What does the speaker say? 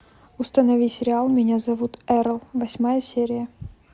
установи сериал меня зовут эрл восьмая серия